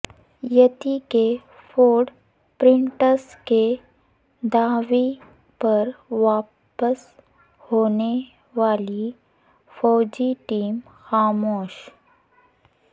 یتی کے footprints کے دعوی پر واپس ہونے والی فوجی ٹیم خاموش